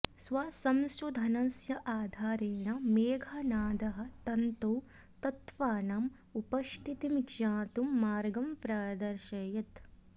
स्वसंशोधनस्य आधारेण मेघनादः तन्तौ तत्त्वानाम् उपस्थितिं ज्ञातुं मार्गं प्रादर्शयत्